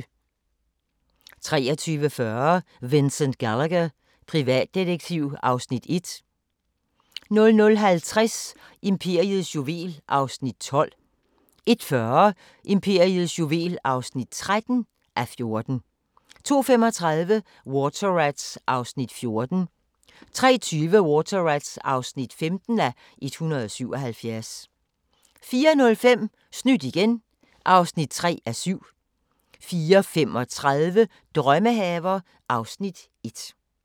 23:40: Vincent Gallagher, privatdetektiv (Afs. 1) 00:50: Imperiets juvel (12:14) 01:40: Imperiets juvel (13:14) 02:35: Water Rats (14:177) 03:20: Water Rats (15:177) 04:05: Snydt igen (3:7) 04:35: Drømmehaver (Afs. 1)